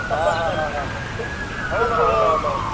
हा हा हा हा हो न हो न